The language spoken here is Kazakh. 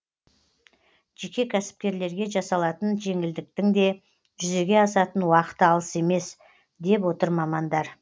жеке кәсіпкерлерге жасалатын жеңілдіктің де жүзеге асатын уақыты алыс емес деп отыр мамандар